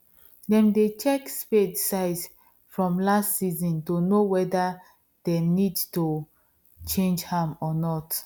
them dey check spade size from last season to know weather them need to change am or not